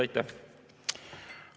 Aitäh!